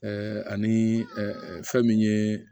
ani fɛn min ye